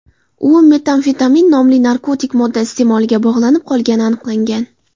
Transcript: U metamfetamin nomli narkotik modda iste’moliga bog‘lanib qolgani aniqlangan.